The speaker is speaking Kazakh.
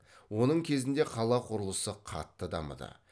оның кезінде қала құрылысы қатты дамыды